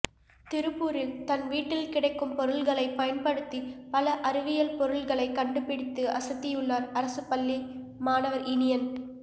திருப்பூரில் தன் வீட்டில் கிடைக்கும் பொருள்களைப் பயன்படுத்தி பல அறிவியல் பொருள்களைக் கண்டுபிடித்து அசத்தியுள்ளார் அரசுப் பள்ளி மாணவர் இனியன்